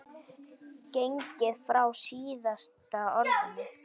gengið frá SÍÐASTA ORÐINU.